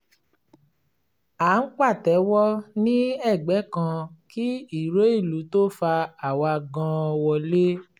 à ń pàtẹ́wọ́ ní ẹgbẹ́ kan kí ìró ìlú tó fà àwa gan wọlé